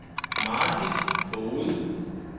Margit Foged